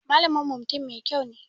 Malamin mu mutum Mai kyau ne.